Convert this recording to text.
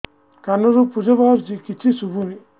କାନରୁ ପୂଜ ବାହାରୁଛି କିଛି ଶୁଭୁନି